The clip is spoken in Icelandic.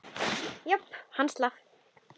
Já, hann slapp.